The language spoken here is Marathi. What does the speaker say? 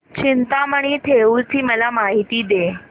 चिंतामणी थेऊर ची मला माहिती दे